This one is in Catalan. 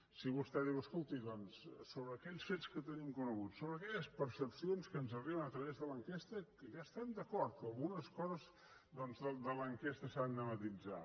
si vostè diu escolti doncs sobre aquells fets que tenim coneguts sobre aquelles percepcions que ens arriben a través de l’enquesta que ja hi estem d’acord que algunes coses doncs de l’enquesta s’han de matisar